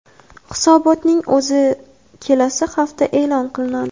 Hisobotning o‘zi kelasi hafta e’lon qilinadi.